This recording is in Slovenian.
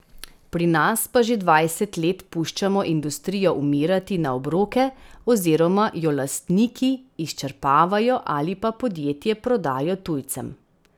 Pri nas pa že dvajset let puščamo industrijo umirati na obroke oziroma jo lastniki izčrpavajo ali pa podjetje prodajo tujcem.